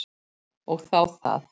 Og þá það.